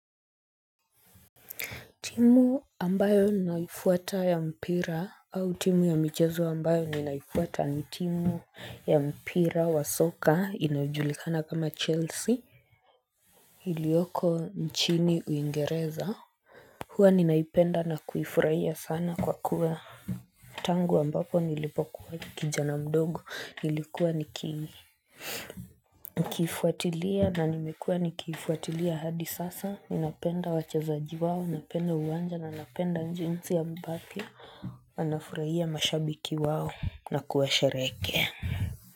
Timu ambayo ninaifuata ya mpira au timu ya michezo ambayo ninaifuata ni timu ya mpira wa soka inajulikana kama Chelsea iliyoko nchini Uingereza. Huwa ninaipenda na kuifurahia sana kwa kuwa Tangu ambapo nilipokuwa kijana mdogo nilikuwa nikiifuatilia na nimekuwa nikiifuatilia hadi sasa, ninapenda wachezaji wao, napenda uwanja na napenda jinsi ambavyo wanafurahia mashabiki wao na kuwasherehekea.